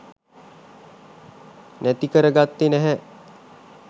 නැති කර ගත්තේ නැහැ.